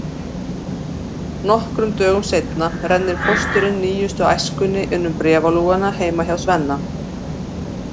Nokkrum dögum seinna rennir pósturinn nýjustu Æskunni inn um bréfalúguna heima hjá Svenna.